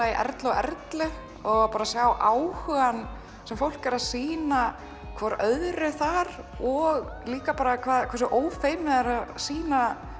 Erlu og Erlu og sjá áhugann sem fólk er að sýna hvert öðru þar og líka bara hversu ófeimið það er að sýna